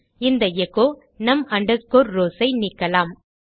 இந்த echo num rows ஐ நீக்கலாம்